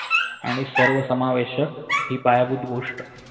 आणि सर्व समावेशक हि पायाभूत गोष्ट